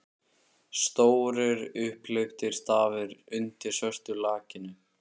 Stórir, upphleyptir stafir undir svörtu lakkinu!